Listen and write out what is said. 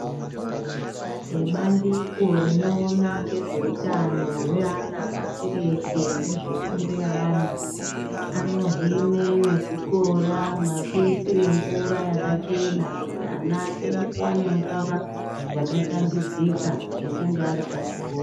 Vebandiko rinoona ngezve utano hwevana pashi reshe nezve fundo yeana anohine vezvikora mekuisire mvura yakachena kuti ana ake awane mvura yakashambidzika echinge ari pachikora .